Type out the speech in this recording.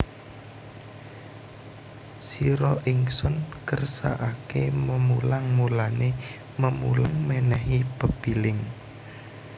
Sira Ingsun kersakaké memulang mulané memulang mènèhi pepiling